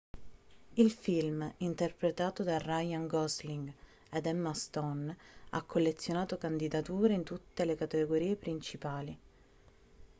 il film interpretato da ryan gosling ed emma stone ha collezionato candidature in tutte le categorie principali